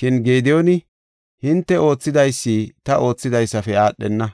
Shin Gediyooni, “Hinte oothidaysi ta oothidaysafe aadhenee?